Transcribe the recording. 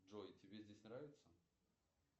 джой тебе здесь нравится